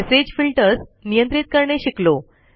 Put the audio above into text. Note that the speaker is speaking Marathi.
मेसेज फिल्टर्स नियंत्रित करणे शिकलो